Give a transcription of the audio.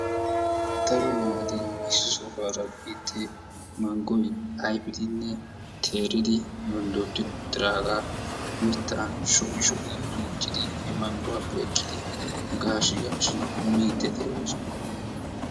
daro naati issi sohuwaara biide manggoy ayfidinne teeridi yonddodi uttiraaga mittan sho'i sho'i duttidi he mangguwappe ekkidi gaashshi gaashshi mmide de'oosona.